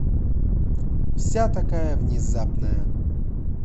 вся такая внезапная